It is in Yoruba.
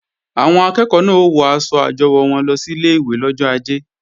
Àwọn akẹ́ẹ̀kọ́ náà ó wọ aṣọ àjọwò wọn lọ sílé ìwé lọ́jọ ajé